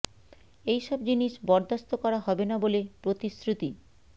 এই সব জিনিস বরদাস্ত করা হবে না বলে প্রতিশ্রুতি